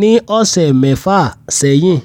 ní ọ̀sẹ̀ mẹ́fà sẹ́yìn